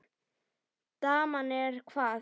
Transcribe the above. Daman er hvað.